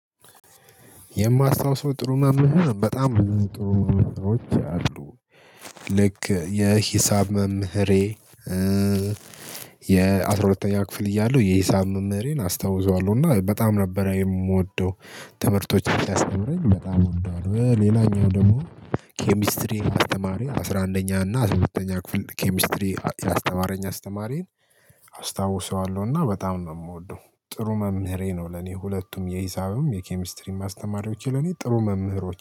የማስታውሰው ጥሩ መምህር በጣም ጥሩ መምህሮች አሉ። ልክ የሂሳብ መምህሬ የአስራ ሁለተኛ ክፍል እያለሁ የሂሳብ መምህሬን አስታውሰዋለሁ እና በጣም ነበር የምወደው ትምህርቶችን ሲያስተምረኝ በጣም ነው እወደዋለሁ። ሌላኛው ደግሞ ኬሚስትሪን አስተማሪ አስራ አንደኛ እና አስራ ሁለተኛ ክፍል ኬሚስትሪ ያስተማረኝ አስተማሪን አስታውሰዋለሁ። እና በጣም ነው የምወደው ጥሩ መምህሬ ነው ለኔ ሁለቱም የሂሳብም የኬሚስትሪም አስተማሪዎቼ ለኔ ጥሩ መምህሮች